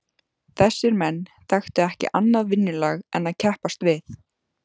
Þessir menn þekktu ekki annað vinnulag en að keppast við.